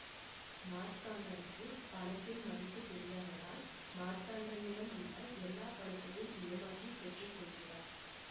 மார்த்தாண்டனுக்கு பணத்தின் மதிப்பு தெரியாததால் மார்த்தாண்டனிடம் உள்ள எல்லா பணத்தையும் ஏமாற்றி பெற்று கொள்கிறார்